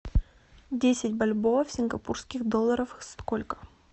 десять бальбоа в сингапурских долларах сколько